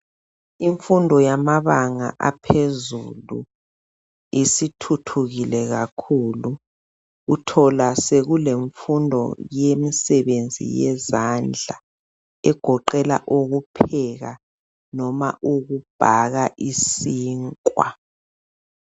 Imfundo yamabanga aphezulu isithuthukile kakhulu. Uthola sekulemfundo yemisebenzi yezandla egoqela ukupheka noma ukubhaka isinkwa.